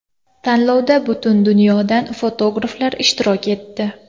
Tanlovda butun dunyodan fotograflar ishtirok etdi.